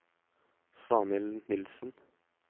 Svanhild Nilsen